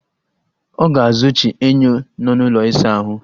Ọ ga-azụchi enyo nọ n'ụlọ ịsa ahụ